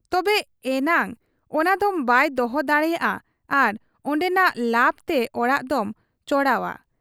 ᱛᱚᱵᱮ ᱮᱱᱟᱝ ᱚᱱᱟᱫᱚᱢ ᱵᱟᱭ ᱫᱚᱦᱚ ᱫᱟᱲᱮᱭᱟᱜ ᱟ ᱟᱨ ᱚᱱᱰᱮᱱᱟᱜ ᱞᱟᱵᱽᱛᱮ ᱚᱲᱟᱜ ᱫᱚᱢ ᱪᱚᱲᱟᱣ ᱟ ᱾